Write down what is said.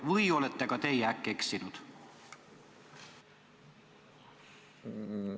Või olete ka teie äkki eksinud?